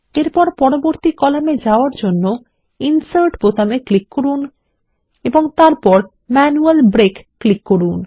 এরপর পরবর্তী কলামে যাওয়ার জন্য ইনসার্ট বোতামে ক্লিক করুন এবং তারপর ম্যানুয়াল ব্রেক ক্লিক করুন